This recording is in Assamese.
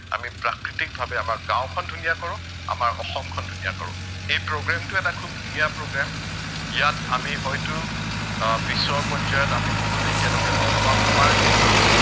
আমি প্ৰাকৃতিকভাৱে আমাৰ গাঁওখন ধুনীয়া কৰো, আমাৰ অসমখন ধুনীয়া কৰো, এই programme টো এটা খুউব ধুনীয়া programme, ইয়াত আমি হয়তো আহ পিছৰ পৰ্য্য়ায়ত আমি বহুত একেলগে লগ পাম আমাৰ এইটো